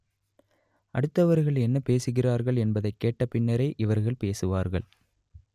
அடுத்தவர்கள் என்ன பேசுகிறார்கள் என்பதைக் கேட்ட பின்னரே இவர்கள் பேசுவார்கள்